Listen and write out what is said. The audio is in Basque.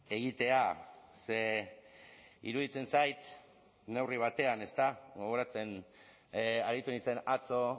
egitea ze iruditzen zait neurri batean ezta gogoratzen aritu nintzen atzo